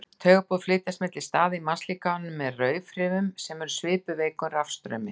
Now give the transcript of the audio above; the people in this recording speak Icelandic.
Taugaboð flytjast milli staða í mannslíkamanum með rafhrifum sem eru svipuð veikum rafstraumi.